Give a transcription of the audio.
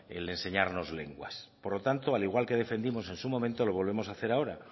el de enseñarnos lenguas por lo tanto al igual que defendimos en su momento lo volvemos a hacer ahora